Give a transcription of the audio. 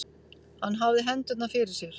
Hann hafði hendurnar fyrir sér.